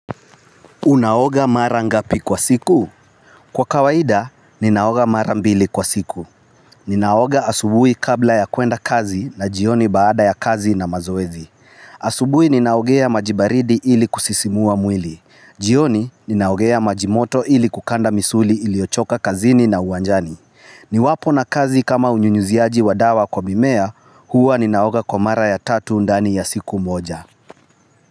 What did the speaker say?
Unaoga mara ngapi kwa siku? Kwa kawaida, ninaoga mara mbili kwa siku. Ninaoga asubuhi kabla ya kwenda kazi na jioni baada ya kazi na mazoezi. Asubuhi ninaogea majibaridi ili kusisimua mwili. Jioni, ninaogea majimoto ili kukanda misuli ilioyochoka kazini na uwanjani. Ni wapo na kazi kama unyunyuziaji wadawa kwa mimea, huwa ninaoga kwa mara ya tatu ndani ya siku moja.